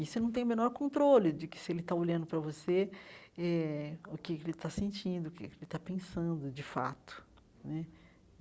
E você não tem o menor controle de que se ele está olhando para você eh, o que ele está sentindo, o que ele está pensando de fato né.